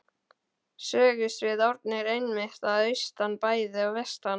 Sögusvið Árna er einmitt að austan bæði og vestan